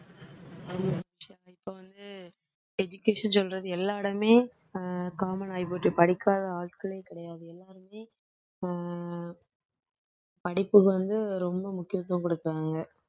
இப்போ வந்து education சொல்றது எல்லா இடமுமே அஹ் common ஆகிப்போச்சு படிக்காத ஆட்களே கிடையாது எல்லாருமே அஹ் படிப்புக்கு வந்து ரொம்ப முக்கியத்துவம் கொடுக்கிறாங்க